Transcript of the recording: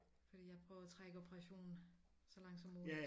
Fordi jeg prøver at trække operationen så langt som muligt